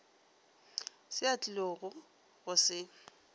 se a tlilogo go se